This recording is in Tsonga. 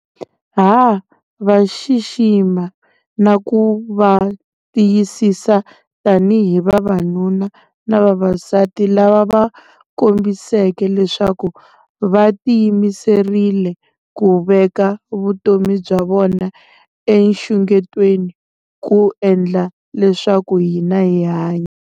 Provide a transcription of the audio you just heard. Ha va xixima na ku va tiyisisa tanihi vavanuna na vavasati lava va kombiseke leswaku va tiyimiserile ku veka vutomi bya vona enxungetweni ku endla leswaku hina hi hanya.